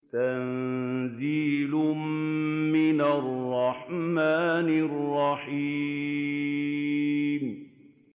تَنزِيلٌ مِّنَ الرَّحْمَٰنِ الرَّحِيمِ